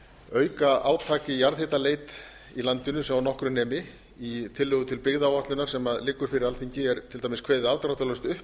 auka átak í jarðhitaleit í landinu svo nokkru nemi í tillögu til byggðaáætlunar sem liggur fyrir alþingi er til dæmis kveðið afdráttarlaust upp